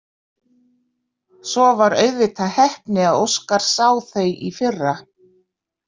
Svo var auðvitað heppni að Óskar sá þau í fyrra.